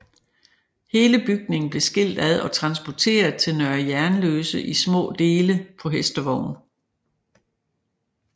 Hele bygningen blev skilt ad og transporteret til Nørre Jernløse i små dele på hestevogn